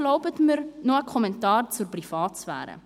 Erlauben Sie mir nun noch einen Kommentar zur Privatsphäre: